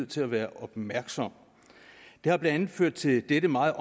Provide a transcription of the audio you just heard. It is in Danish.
til at være opmærksom det har blandt andet ført til dette meget